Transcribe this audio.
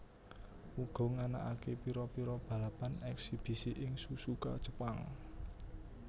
uga nganakaké pira pira balapan eksibisi ing Suzuka Jepang